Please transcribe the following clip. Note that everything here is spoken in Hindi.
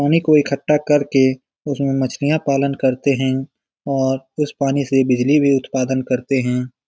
पानी को इकठा करके उसमे मछलियां पालन करते है और उस पानी से बिजली भी उत्पादन करते है ।